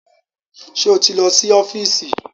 Ṣé o ti lọ sí ọ́fíìsì?